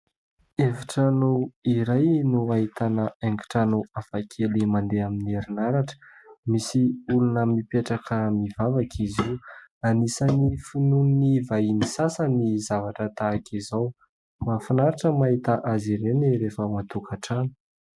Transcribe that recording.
Efitrano iray no ahitana haingon-trano hafa kely mandeha amin'ny herinaratra. Misy olona mipetraka mivavaka izy io. Anisan'ny finoan'ny vahiny sasany ny zavatra tahaka izao. Mahafinaritra ny mahita azy ireny rehefa ao an-tokantrano.